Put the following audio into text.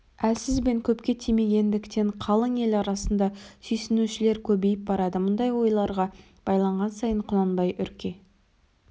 әлсіз бен көпке тимегендіктен қалың ел арасында сүйсінушілер көбейіп барады мұндай ойларға байланған сайын құнанбай үрке